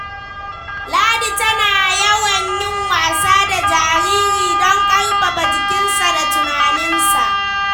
Ladi tana yawan yin wasa da jariri don karfafa jikinsa da tunaninsa.